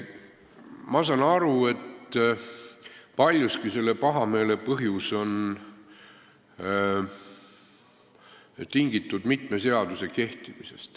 Ma saan aru, et paljuski on selle pahameele põhjus mitme seaduse kehtimine.